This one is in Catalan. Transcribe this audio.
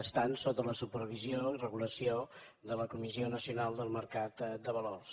estan sota la supervisió i regulació de la comissió nacional del mercat de valors